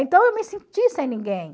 Então eu me senti sem ninguém.